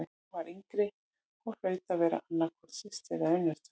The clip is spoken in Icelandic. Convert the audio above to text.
Hin var yngri og hlaut að vera annað hvort systir eða unnusta.